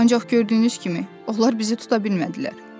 Ancaq gördüyünüz kimi, onlar bizi tuta bilmədilər.